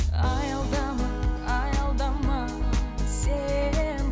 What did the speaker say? аялдама аялдама сен